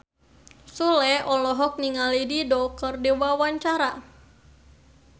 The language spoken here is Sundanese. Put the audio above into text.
Sule olohok ningali Dido keur diwawancara